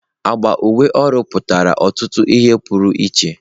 Agba uwe ọrụ pụtara ọtụtụ ihe pụrụ iche.